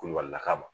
Kulubalilaka ma